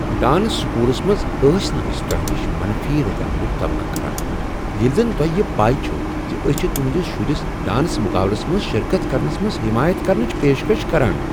Dance سکولس منٛز ٲسۍ نہٕ أسۍ تۄہہ نشِ منفی رد عملٕچ توقع کران ییٚلہ زن تۄہہ یہ پے چھوٕ زِ أسۍ چھ تہنٛدس شرس ڈانس مقابلس منٛز شرکت کرنس منٛز حمایت کرنٕچ پیشکش کران۔